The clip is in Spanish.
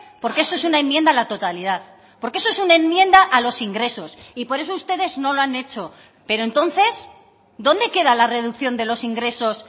porque eso es una enmienda a la totalidad porque eso es una enmienda a los ingresos y por eso ustedes no lo han hecho pero entonces dónde queda la reducción de los ingresos